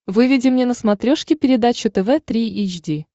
выведи мне на смотрешке передачу тв три эйч ди